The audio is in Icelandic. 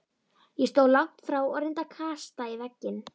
Ég stóð langt frá og reyndi að kasta í vegginn.